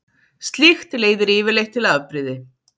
Slíkt leiðir yfirleitt til afbrýði.